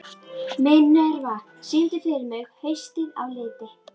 Minerva, syngdu fyrir mig „Haustið á liti“.